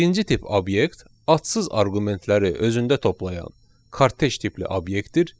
Birinci tip obyekt adsız arqumentləri özündə toplayan karteş tipli obyektdir.